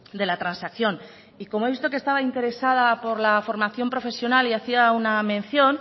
de la transacción y como he visto que estaba interesada por la formación profesional y hacía una mención